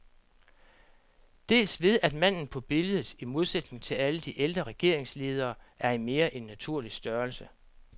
Dels ved at manden på billedet, i modsætning til alle de ældre regeringsledere, er i mere end naturlig størrelse.